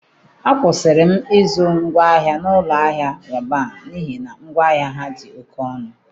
Akwụsịrị m ịzụ ngwaahịa n'ụlọ ahịa Roban n’ihi na ngwaahịa ha dị oke ọnụ.